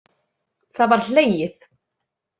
Það var hlegið.